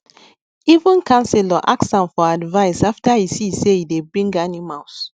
even councillor ask am for advice after e see say e dey bring animals